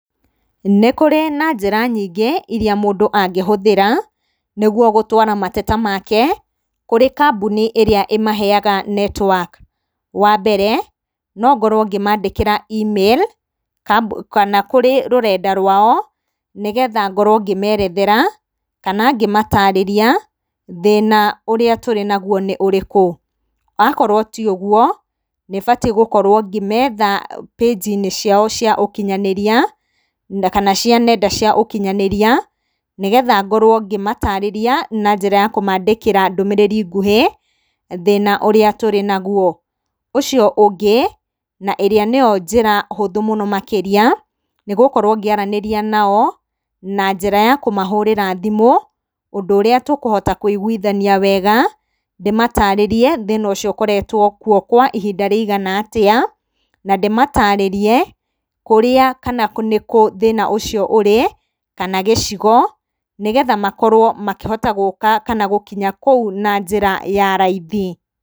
Nĩ kũrĩ na njĩra nyingĩ iria mũndũ angĩhũthĩra, nĩguo gũtwara mateta make, kũrĩ kambuni ĩrĩa ĩmeheyaga netiwaki wa mbere, nongorwo ngĩmandĩkĩra e-mail, kambu kana kũrĩ rũrenda rwao, nĩ getha ngorwo ngĩmerethera, kana ngĩmatarĩria, thĩna ũrĩa tũrĩ naguo nĩ ũrĩkũ, akorwo tiũguo nĩbatiĩ gũkorwo ngĩmetha pagi-inĩ ciao cia ũkinyanĩria, kana cia nenda cia ũkinyanĩria, nĩ getha ngorwo ngĩmatarĩria, na njĩra ya kũmandĩkĩra ndũmĩrĩri nguhĩ, thĩna ũrĩa tũrĩ naguo, ũcio ũngĩ, na ĩrĩa nĩyo njĩra hũthũ mũno makĩria, nĩ gũkorwo ngĩaranĩria nao, na njĩra ya kũmahũrĩra thimũ, ũndũ ũrĩa tũkũhota kwĩigwithania wega, ndĩmatarĩrie thĩna ũcio ũkoretwo kwo kwa ihinda rĩigana atĩa, na ndĩmatarĩrie, kũrĩa kana nĩkũ, thĩna ũcio ũrĩ, kana gĩcigo, nĩ getha makorwo makĩhota gũka kana gũkinya kũu na njĩra ya raithi.